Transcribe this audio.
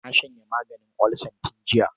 Na shanye maganin olsan tun jiya.